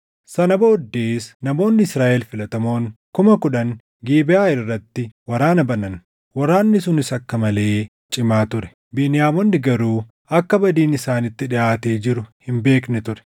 Sana booddees namoonni Israaʼel filatamoon kuma kudhan Gibeʼaa irratti waraana banan. Waraanni sunis akka malee cimaa ture; Beniyaamonni garuu akka badiin isaanitti dhiʼaatee jiru hin beekne ture.